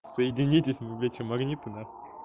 соединитесь вы блять что магниты нахуй